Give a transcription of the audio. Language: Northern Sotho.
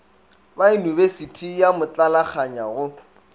ba yunibesithi ya motlalakganya go